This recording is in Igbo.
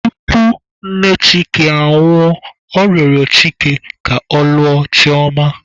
Tupu nne Chike anwụọ, ọ rịọrọ Chike ka ọ lụọ Chioma..